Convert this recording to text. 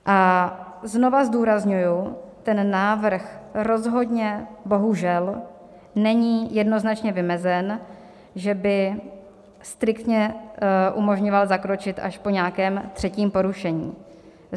A znova zdůrazňuji, ten návrh rozhodně bohužel není jednoznačně vymezen, že by striktně umožňoval zakročit až po nějakém třetím porušení.